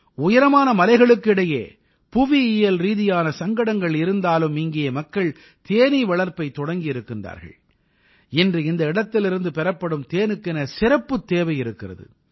உயரமான மலைகளுக்கு இடையே புவியியல் ரீதியான சங்கடங்கள் இருந்தாலும் இங்கே மக்கள் தேனீ வளர்ப்பைத் தொடங்கியிருக்கிறார்கள் இன்று இந்த இடத்திலிருந்து பெறப்படும் தேனுக்கென சிறப்புத் தேவை இருக்கிறது